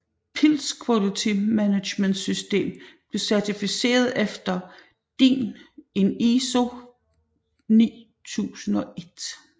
Pilz Quality Management System blev certificeret efter DIN EN ISO 9001